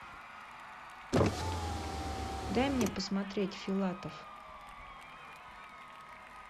дай мне посмотреть филатов